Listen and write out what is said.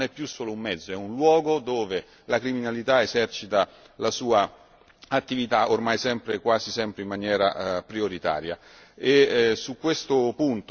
Pensiamo ad Internet che è un mezzo sempre più usato, ma che non è più solo un mezzo ma è anche un luogo dove la criminalità esercita la sua attività, ormai quasi